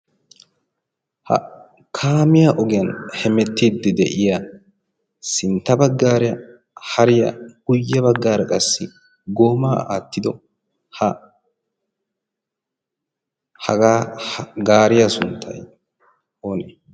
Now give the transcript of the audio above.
ha kaamiya ogiyan hemettiiddi de'iya sintta baggaaria hariya guyye baggaara qassi goomaa aattido ha hagaa gaariya sunttai oonee?